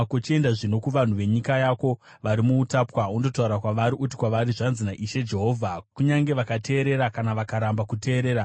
Chienda zvino kuvanhu venyika yako vari muutapwa undotaura kwavari. Uti kwavari, ‘Zvanzi naIshe Jehovha,’ kunyange vakateerera kana vakaramba kuteerera.”